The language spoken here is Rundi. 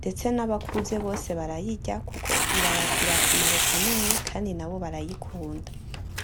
ndetse n'abakuze bose barayirya kuko irabagirira akamaro kanini kandi nabo barayikunda.